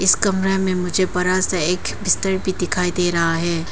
इस कमरा में मुझे बड़ा सा एक बिस्तर भी दिखाई दे रहा है।